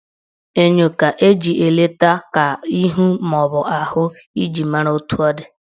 Enyo ka eji eleta ka ihu maọbụ ahụ iji mara etu ọ dị